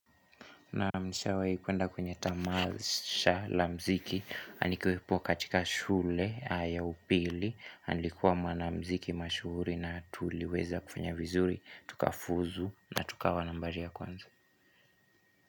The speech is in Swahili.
Naam nishawahi kuenda kwenye tamasha la mziki nikiwepo katika shule ya upili nilikuwa mwanamziki mashuhuri na tuliweza kufanya vizuri Tukafuzu na tukawa nambari ya kwanza.